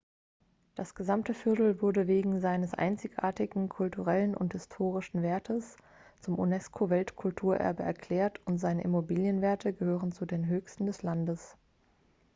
das gesamte viertel wurde wegen seines einzigartigen kulturellen und historischen wertes zum unesco-weltkulturerbe erklärt und seine immobilienwerte gehören zu den höchsten des landes